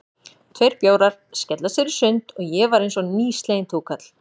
Tveir bjórar, skella sér í sund, og ég var einsog nýsleginn túkall.